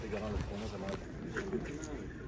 Və mən belə dedim, sənə deyirəm, sən bilirsən.